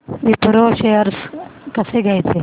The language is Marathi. विप्रो शेअर्स कसे घ्यायचे